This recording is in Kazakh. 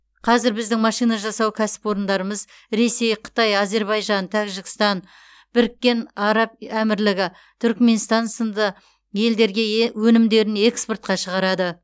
қазір біздің машина жасау кәсіпорындарымыз ресей қытай әзербайжан тәжікстан біріккен араб әмірлігі түрікменстан сынды елдерге э өнімдерін экспортқа шығарады